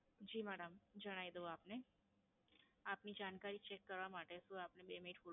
જી madam જણાવી દઉં આપને. આપની જાણકારી ચેક કરવા માટે શું આપણે બે મિનિટ Hold